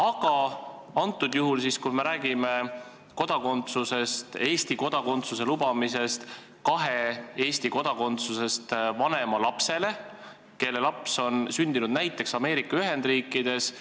Aga praegu me räägime Eesti kodakondsuse lubamisest näiteks kahe Eesti kodanikust vanema lapsele, kes on sündinud näiteks Ameerika Ühendriikides.